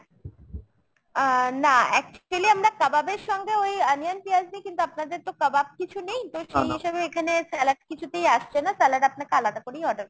আহ না। actually আমরা কাবাবের সঙ্গে ওই onion পেঁয়াজ দিই কিন্তু আপনাদের তো কাবাব কিছু নেই এখানে salad কিছুতেই আসছে না salad আপনাকে আলাদা করেই order করতে হবে।